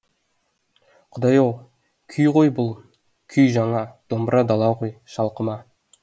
құдай ау күй ғой бұл күй жаңа домбыра дала ғой шалқыма